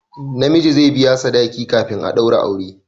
Na miji zai biya sadaki kafin a daura aure